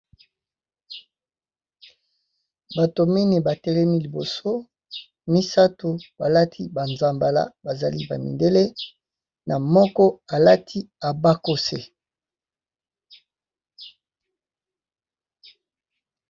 Bato mingi batelemi liboso misato balati ba zambala bazali ba mindele na moko alati abakose.